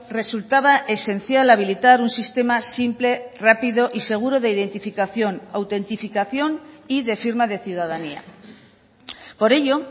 resultaba esencial habilitar un sistema simple rápido y seguro de identificación autentificación y de firma de ciudadanía por ello